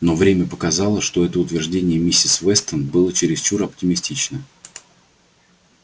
но время показало что это утверждение миссис вестон было чересчур оптимистично